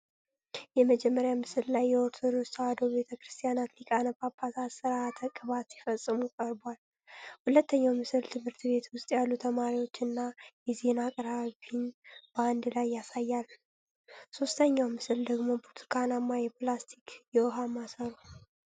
የመጀመሪያው ምስል ላይ የኦርቶዶክስ ተዋሕዶ ቤተ ክርስቲያን ሊቃነ ጳጳሳት ሥርዓተ ቅባት ሲፈጽሙ ቀርቧል። ሁለተኛው ምስል ትምህርት ቤት ውስጥ ያሉ ተማሪዎችን እና የዜና አቅራቢን በአንድ ላይ ያሳያል። ሦስተኛው ምስል ደግሞ ብርቱካናማ የፕላስቲክ የውኃ ማሰሮ።